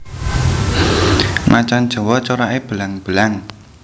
Macan jawa corake belang belang